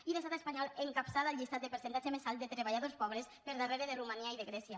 i l’estat espanyol encapçala el llistat de percentatge més alt de treballadors pobres per darrere de romania i de grècia